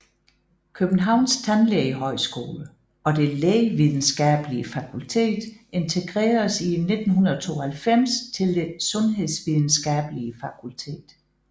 Københavns Tandlægehøjskole og Det Lægevidenskabelige Fakultet integreredes i 1992 til Det Sundhedsvidenskabelige Fakultet